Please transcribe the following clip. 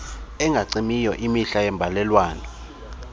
engacimiyo imihla yeembalelwano